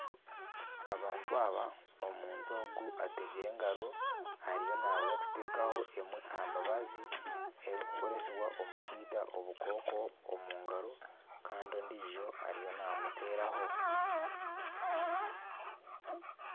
Abantu aba, omuntu ogu ategyire engaro ariyo naza kutekaho emwe aha mibazi erikukoresibwa omu kwita obukooko omu ngaro kandi ondiijo ariyo namuteeraho.